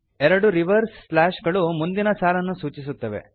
ಎರಡು reverse slash ಗಳು ಮುಂದಿನ ಸಾಲನ್ನು ಸೂಚಿಸುತ್ತವೆ